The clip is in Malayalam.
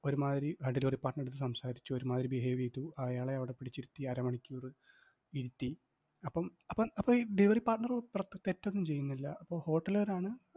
ഒരുമാതിരി ആഹ് delivery partner നടുത്ത് സംസാരിച്ചു, ഒരുമാതിരി behave ചെയ്തു, അയാളെ അവിടെ പിടിച്ചിരുത്തി, അരമണിക്കൂറ് ഇരുത്തി. അപ്പം അപ്പം അപ്പം ഈ delivery partner തെറ്റൊന്നും ചെയ്യുന്നില്ല, അപ്പം hotel കാരാണ്